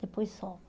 Depois some.